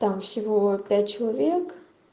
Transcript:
там всего пять человек